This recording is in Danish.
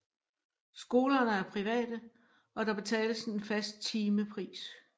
Skolerne er private og der betales en fast timepris